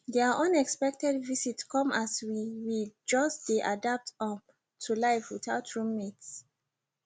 their unexpected visit come as we we just dey adapt um to life without roommates